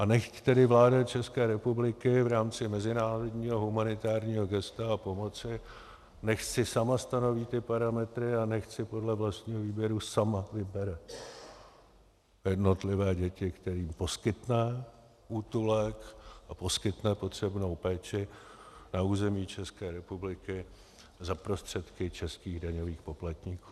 A nechť tedy vláda České republiky v rámci mezinárodního humanitárního gesta a pomoci, nechť si sama stanoví ty parametry a nechť si podle vlastního výběru sama vybere jednotlivé děti, kterým poskytne útulek a poskytne potřebnou péči na území České republiky za prostředky českých daňových poplatníků.